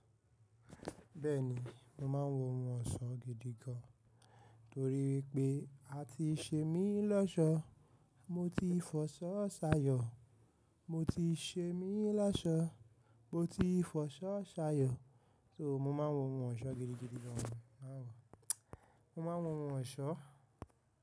Bẹ́ẹ̀ni, mo máa ń wo ohun ọ̀ṣọ́ gidi gan, torí pé a ti ṣe mí lọ́ṣọ̀ọ́, mo ti fọṣọ́ sayọ̀, mo ti ṣe mí lọ́ṣọ̀ọ́, mo ti fọṣọ́ sayọ̀, so mo máa ń wo ohun ọ̀ṣọ́ gidi gidigan, mo máa ń wo, mo máa ń wo ohun ọ̀ṣọ́